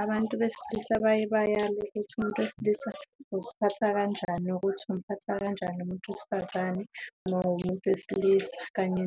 Abantu besilisa baye bayalwe ukuthi umuntu wesilisa uziphatha kanjani nokuthi umphatha kanjani umuntu wesifazane uma ungumuntu wesilisa, kanye